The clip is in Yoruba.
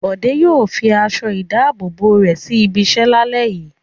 Bọ̀dé yòò fi aṣọ-ìdáàbòbò rẹ̀ sí ibiṣẹ́ lálẹ́ yìí.